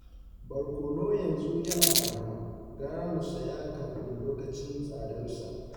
Borkono yanzu yana arha, gara mu saya kafin lokacin tsadarsa